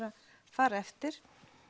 fara eftir